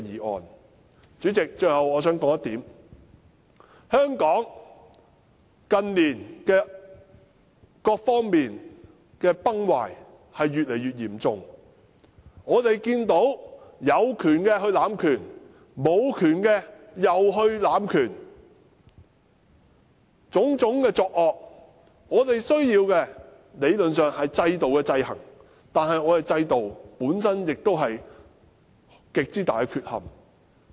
代理主席，我最後想指出一點，香港近年各方面的崩壞越來越嚴重，我們看到有權的濫權，無權的也濫權，種種惡行，我們理論上需要透過制度制衡，但我們的制度本身亦有極大缺憾。